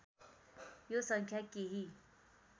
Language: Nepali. यो सङ्ख्या केही